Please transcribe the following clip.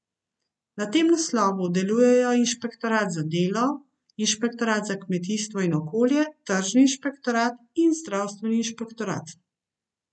Na tem naslovu delujejo inšpektorat za delo, inšpektorat za kmetijstvo in okolje, tržni inšpektorat in zdravstveni inšpektorat.